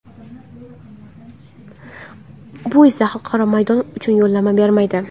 Bu esa xalqaro maydon uchun yo‘llanma bermaydi.